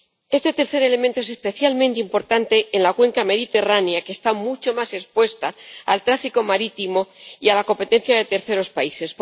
Este tercer elemento es especialmente importante en la cuenca mediterránea, que está mucho más expuesta al tráfico marítimo y a la competencia de terceros países.